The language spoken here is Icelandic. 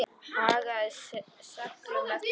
Hagaði seglum eftir vindi.